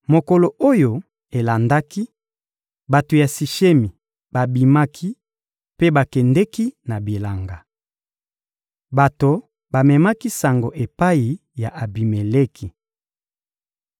Mokolo oyo elandaki, bato ya Sishemi babimaki mpe bakendeki na bilanga. Bato bamemaki sango epai ya Abimeleki.